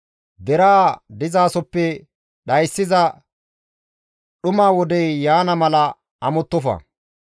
Deraa dizasoppe dhayssiza dhuma wodey yaana mala amottofa.